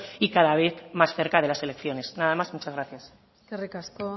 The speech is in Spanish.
y cada vez más cerca de las elecciones nada más y muchas gracias eskerrik asko